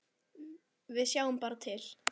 Við sjáum bara til.